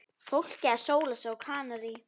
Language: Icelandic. Fólkið að sóla sig á Kanarí.